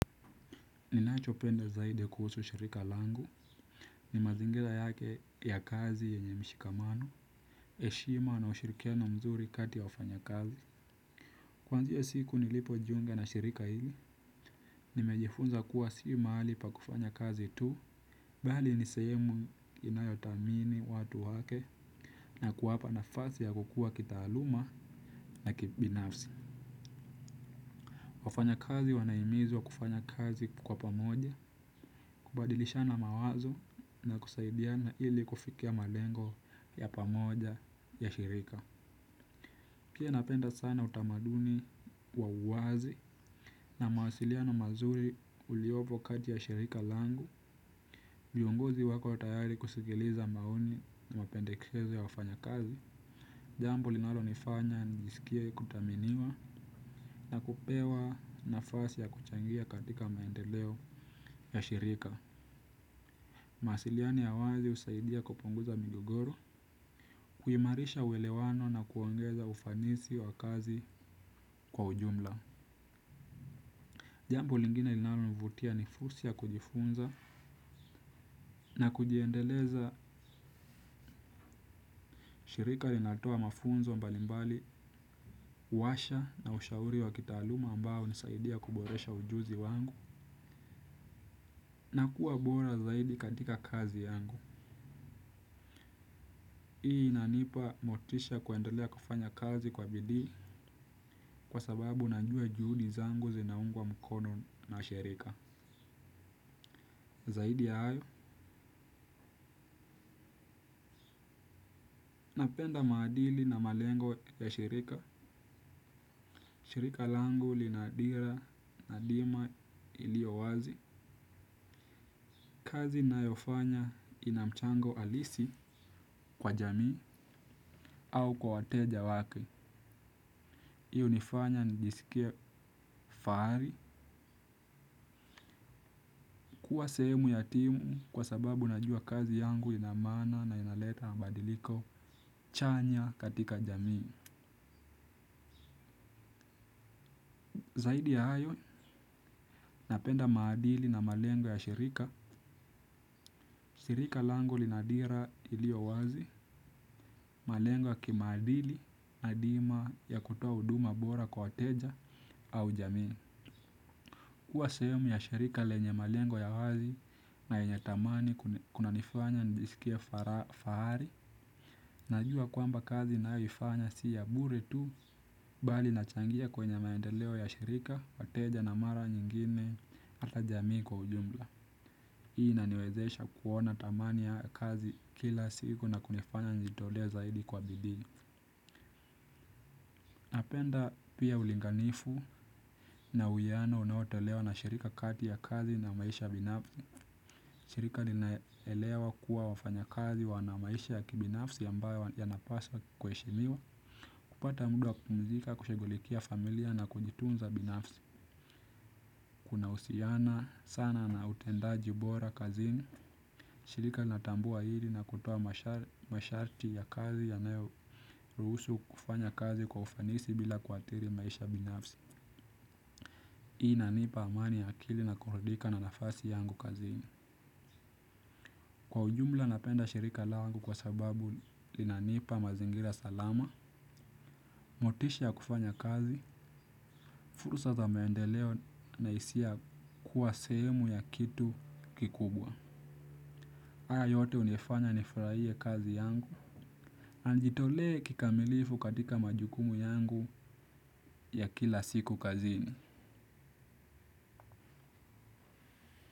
Ninachopenda zaidi kuhusu shirika langu ni mazingila yake ya kazi yenye mshikamano eshima na ushirikiano mzuri kati ya wafanyakazi kuanzia siku nilipojiunga na shirika hili nimejifunza kuwa si mahali pa kufanya kazi tu bali ni sehemu inayotamini watu wake na kuwapa nafasi ya kukua kitaaluma na kibinafsi. Wafanyakazi wanahimizwa kufanya kazi kwa pamoja kubadilishana mawazo na kusaidiana ili kufikia malengo ya pamoja ya shirika pia napenda sana utamaduni wa uwazi na mawasiliano mazuri uliopo kati ya shirika langu vionguzi wako tayari kusigiliza maoni na mapendekezo ya wafanyakazi jambo linalonifanya nijisikie kutaminiwa na kupewa nafasi ya kuchangia katika maendeleo ya shirika. Mawasiliano ya wazi usaidia kupunguza migogoro, kuimarisha uwelewano na kuongeza ufanisi wa kazi kwa ujumla. Jambo lingine ilinalonivutia ni fursi ya kujifunza na kujiendeleza shirika linatoa mafunzo mbalimbali, uwasha na ushauri wa kitaaluma ambao unisaidia kuboresha ujuzi wangu na kuwa bora zaidi katika kazi yangu. Hii inanipa motisha ya kuendolea kufanya kazi kwa bidii kwa sababu najua juhudi zangu zinaungwa mkono na shirika. Zaidi ya ayo. Napenda maadili na malengo ya shirika. Shirika langu lina dira nadima iliowazi. Kazi nayofanya ina mchango alisi kwa jamii au kwa wateja wake iunifanya nijisikie faari. Kuwa sehemu ya timu kwa sababu najua kazi yangu ina maana na inaleta mabadiliko chanya katika jamii. Zaidi ya hayo, napenda maadili na malengo ya shirika. Sirika langu lina dira iliowazi, malengo ya kimaadili na dima ya kutoa uduma bora kwa wateja au jamii. Kuwa sehemu ya shirika lenye malengo ya wazi na yenye tamani kunanifanya nijisikie fahari. Najua kwamba kazi ninayoifanya si ya bure tu bali nachangia kwenye maendeleo ya shirika, wateja na mara nyingine ata jamii kwa ujumla. Hii inaniwezesha kuona tamani ya kazi kila siku na kunifanya njitolee zaidi kwa bidii. Napenda pia ulinganifu na uiyano unaotelewa na shirika kati ya kazi na maisha binafsi. Shirika linaelewa kuwa wafanyakazi wana maisha ya kibinafsi ambayo yanapaswa kueshimiwa. Kupata mda wa kumzika, kushugulikia familia na kujitunza binafsi. Kunausiana sana na utendaji bora kazini. Shirika linatambua hiri na kutoa masharti ya kazi yanayoruhusu kufanya kazi kwa ufanisi bila kuatiri maisha ya binafsi ii inanipa amani ya akili na kurudika na nafasi yangu kazini. Kwa ujumla napenda shirika langu kwa sababu linanipa mazingira salama. Motisha ya kufanya kazi furusa za maendeleo na isia ya kuwa sehemu ya kitu kikubwa aya yote unifanya nifraie kazi yangu na nijitolee kikamilifu katika majukumu yangu ya kila siku kazini.